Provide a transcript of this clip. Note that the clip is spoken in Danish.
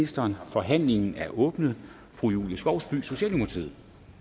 forhandlingen er åbnet fru julie skovsby socialdemokratiet